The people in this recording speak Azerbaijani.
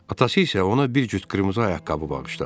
Atası isə ona bir cüt qırmızı ayaqqabı bağışladı.